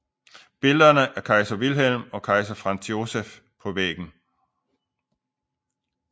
Billeder af kejser Wilhelm og kejser Franz Joseph på væggen